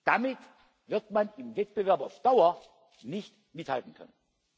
Damit wird man im Wettbewerb auf Dauer nicht mithalten können.